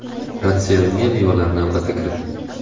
Ratsionga mevalarni albatta kiriting.